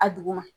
A duguma